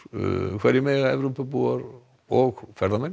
hverju mega Evrópubúar og ferðamenn